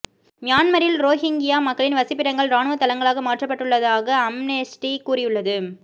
மியான்மரில் ரோஹிங்கியா மக்களின் வசிப்பிடங்கள் ராணுவ தளங்களாக மாற்றப்பட்டுள்ளதாக அம்னெஸ்டி கூறியுள்ளது